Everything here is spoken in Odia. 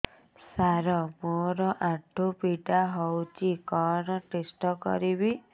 ସାର ମୋର ଆଣ୍ଠୁ ପୀଡା ହଉଚି କଣ ଟେଷ୍ଟ କରିବି